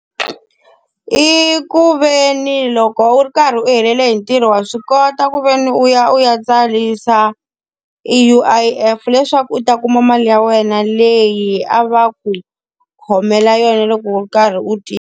I ku ve ni loko u ri karhi u helele hi ntirho wa swi kota ku ve ni u ya u ya tsarisa, e U_I_F leswaku u ta kuma mali ya wena leyi a va ku khomela yona loko u ri karhi u tirha.